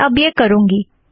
मैं अब यह करूँगी